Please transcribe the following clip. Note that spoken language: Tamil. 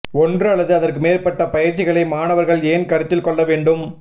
ஒன்று அல்லது அதற்கு மேற்பட்ட பயிற்சிகளை மாணவர்கள் ஏன் கருத்தில் கொள்ள வேண்டும்